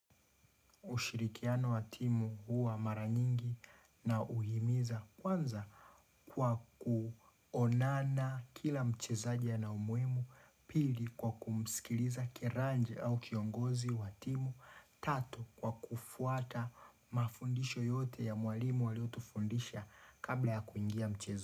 Ushirikiano wa timu huwa mara nyingi na uhimiza kwanza kwa kuonana kila mchezaji ana umuhimu, pili kwa kumsikiliza kiranja au kiongozi watimu, tatu kwa kufuata mafundisho yote ya mwalimu waliotufundisha kabla ya kuingia mchezo.